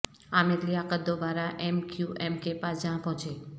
عامر لیاقت دوبارہ M Q M کے پاس جا پہنچے